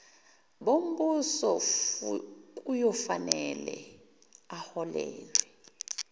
bombuso kuyofanele aholelwe